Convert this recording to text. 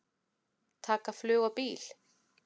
Taka flug og bíl?